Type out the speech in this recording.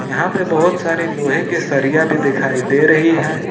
यहां पे बहोत सारे लोहे के सरिया भी दिखाई दे रही है।